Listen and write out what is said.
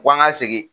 Ko an ka segin